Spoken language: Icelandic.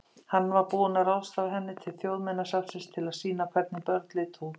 Hann var búinn að ráðstafa henni til Þjóðminjasafnsins til að sýna hvernig börn litu út.